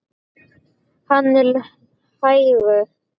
Hann er hægur.